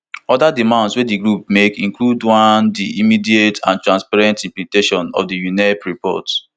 oda demands wey di groups make include one di immediate and transparent implementation of di unep report